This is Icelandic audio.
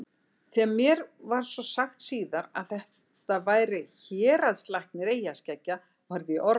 Þegar mér var svo sagt síðar að þetta væri héraðslæknir eyjaskeggja varð ég orðlaus.